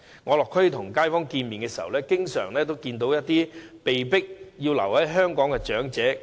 我落區與街坊會面時，經常遇到一些被迫留在香港的長者。